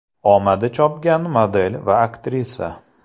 Omadi chopgan model va aktrisa.